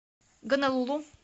гонолулу